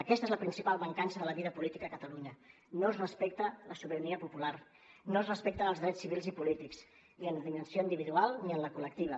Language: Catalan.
aquesta és la principal mancança de la vida política a catalunya no es respecta la sobirania popular no es respecten els drets civils i polítics ni en l’acció individual ni en la col·lectiva